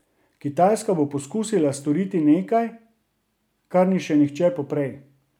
Kitajska bo poskusila storiti nekaj, kar ni še nihče poprej.